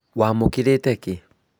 Waamũkĩrĩte kĩĩ?